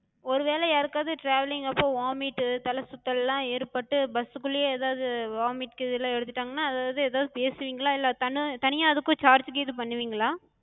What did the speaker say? ஒருவேல யாருக்காது travelling அப்ப vomite தல சுத்தல்லா ஏற்பட்டு bus குள்ளயே எதாது vomite கீதுல்லா எடுத்துடாங்கனா அதாது எதாது பேசுவிங்களா? இல்ல தனியா அதுக்கு charge பண்ணுவிங்களா?